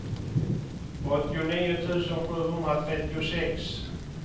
åttionio tusen sjuhundratrettiosex